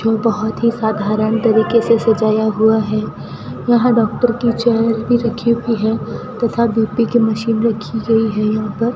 बहोत ही साधारण तरीके से सजाया हुआ है यहां डॉक्टर की चेयर भी रखी हुई है तथा बी_पी की मशीन रखी गई है यहां पर --